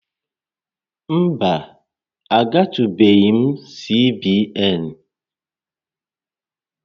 Mba, agatụbeghị m CBN